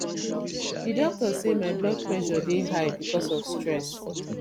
di doctor say my blood pressure dey high because of stress